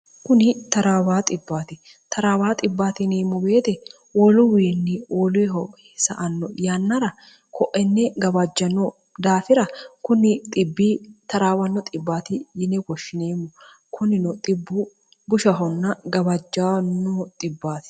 kuni trwa trawa nmm beete woluwiinni woluhosa anno yannara koenne gabajjanno daafira kunni 0 1rw yine goshshieemmo kunino bbgushon gabajj